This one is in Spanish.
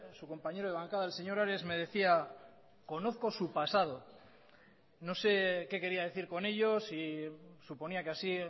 su compañero de bancada el señor ares me decía conozco su pasado no sé qué quería decir con ello si suponía que así